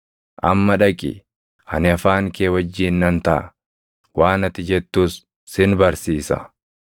Amma dhaqi; ani afaan kee wajjin nan taʼa; waan ati jettus sin barsiisa.”